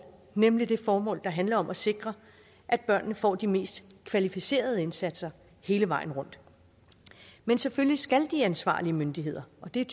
nemlig det formål der handler om at sikre at børnene får de mest kvalificerede indsatser hele vejen rundt men selvfølgelig skal de ansvarlige myndigheder og det er